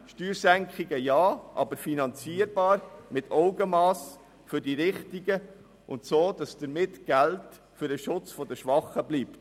Steuersenkungen Ja, aber finanzierbar, mit Augenmass, für die Richtigen und auf eine Weise, dass Geld für den Schutz der Schwachen übrigbleibt.